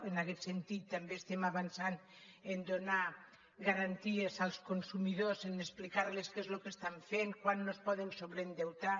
en aquest sentit també avancem a donar garanties als consumidors a explicar los què és el que fan quant no es poden sobreendeutar